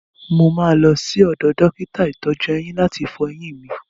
Mo máa lọ sí ọdọ̀ dókítà ìtọ́jú-eyín láti fọ eyín mi.